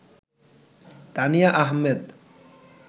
Tania Ahmed